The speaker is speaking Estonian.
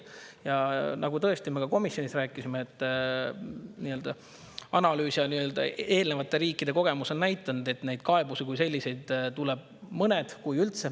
Ja tõesti, me ka komisjonis rääkisime, et analüüsid ja eelnevate riikide kogemus on näidanud, et neid kaebusi tuleb mõni, kui üldse.